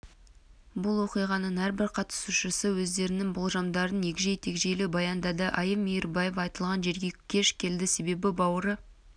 бұл оқиғаның әрбір қатысушысы өздерінің болжамдарын егжей-тегжейлі баяндады айым мейірбаева айтылған жерге кеш келеді себебі бауыры